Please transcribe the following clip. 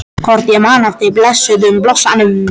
Hvort ég man eftir blessuðum blossanum?